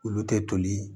Olu tɛ toli